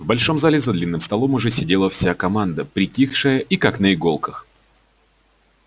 в большом зале за длинным столом уже сидела вся команда притихшая и как на иголках